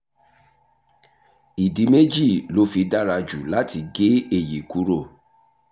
ìdí méjì ló fi dára jù láti gé èyí kúrò